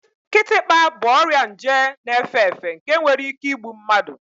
Kịtịkpa bụ ọrịa nje na-efe efe nke nwere ike igbu mmadụ